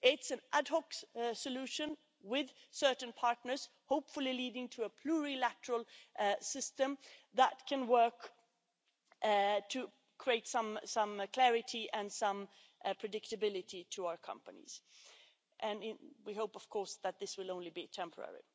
It's an ad hoc solution with certain partners, hopefully leading to a plurilateral system that can work to create some clarity and some predictability for our companies. We hope, of course, that this will only be temporary.